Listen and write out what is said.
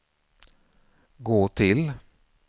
gå till